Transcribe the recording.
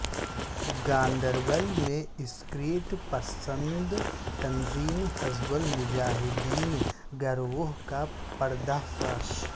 گاندربل میں عسکریت پسند تنظیم حزب المجاہدین گروہ کا پردہ فاش